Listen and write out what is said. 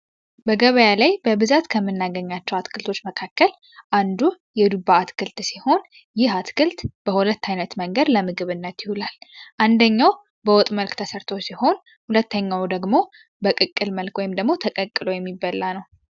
በገበያ ላይ በብዛት ከምናገኛቸው አትክልቶች መካከል አንዱ የዱባ አትክልት ሲሆን ይህ አትክልት በሁለት ዓይነት መንገድ ለምግብእነት ይሁላል አንደኛው በወጥ መልክ ተሰርተ ሲሆን ሁለተኛው ደግሞ በቅቅል መልክ ወይም ደግሞ ተቀቅሎ የሚበላ ነው